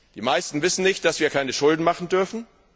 Die meisten wissen nicht, dass wir keine Schulden machen dürfen.